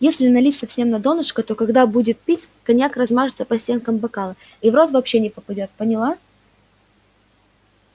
если налить совсем на донышко то когда будет пить коньяк размажется по стенкам бокала и в рот вообще не попадёт поняла